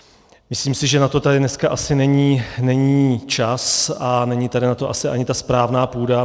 Myslím si, že na to tady dneska ani není čas a není tady na to asi ani ta správná půda.